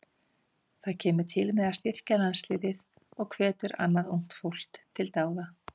Það kemur til með að styrkja landsliðin og hvetur annað ungt fólk til dáða.